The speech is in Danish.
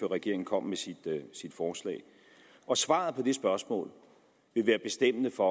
regeringen kom med sit forslag og svaret på det spørgsmål vil være bestemmende for